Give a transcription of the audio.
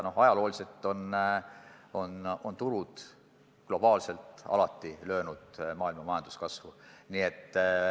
Ja ajalooliselt on tulud globaalselt alati löönud maailma majanduskasvu.